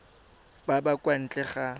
ba ba kwa ntle ga